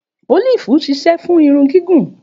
Òlífì ṣisẹ fùn irun gìgún